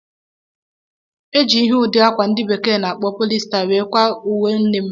Eji ihe udi akwa ndị Bekee na-akpọ"polyester" wee kwa uwe nne m